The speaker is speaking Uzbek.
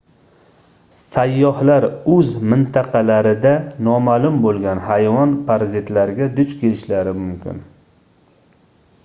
sayyohlar oʻz mintaqalarida nomaʼlum boʻlgan hayvon parazitlariga duch kelishlari mumkin